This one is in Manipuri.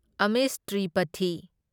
ꯑꯃꯤꯁ ꯇ꯭ꯔꯤꯄꯊꯤ